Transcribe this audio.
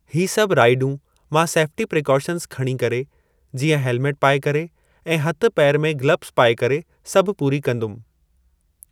ही सभु राइडूं मां सेफ्टी प्रिकॉशंस खणी करे, जीअं हेल्मेट पाए करे ऐं हथु पेर में गिलब्स पाए करे सभु पूरी कंदुमि।